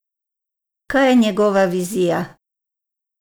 Kaj je njegova vizija?